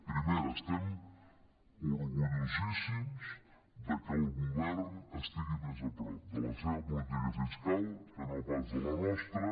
primera estem orgullosíssims de que el govern estigui més a prop de la seva política fis·cal que no pas de la nostra